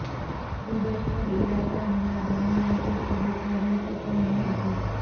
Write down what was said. Kuwait પર ઈરાકના હુમલા દરમિયાન તે કુવૈતમાં રહેતી પણ ન હતી